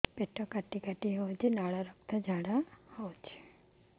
ପେଟ କାଟି କାଟି ହେଉଛି ଲାଳ ରକ୍ତ ଝାଡା ହେଉଛି